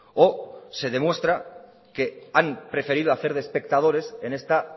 o se demuestra que han preferido hacer de espectadores en esta